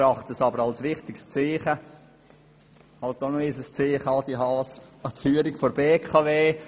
Wir erachten sie jedoch als wichtiges Zeichen an die Führung der BKW – es ist halt nochmals ein Zeichen, Adrian Haas.